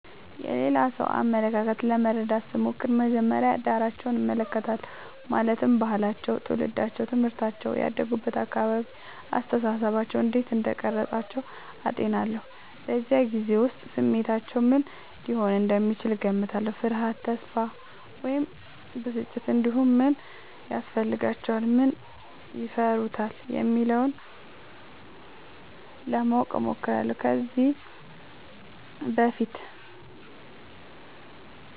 የሌላ ሰው አመለካከት ለመረዳት ስሞክር መጀመሪያ ዳራቸውን እመለከታለሁ ማለትም ባህላቸው ትውልዳቸው ትምህርታቸው እና ያደጉበት አካባቢ አስተሳሰባቸውን እንዴት እንደቀረጸ አጤናለሁ በዚያ ጊዜ ውስጥ ስሜታቸው ምን ሊሆን እንደሚችል እገምታለሁ ፍርሃት ተስፋ ወይም ብስጭት እንዲሁም ምን ያስፈልጋቸዋል ምን ይፈሩታል የሚለውን ለማወቅ እሞክራለሁ ከዚህ በፊት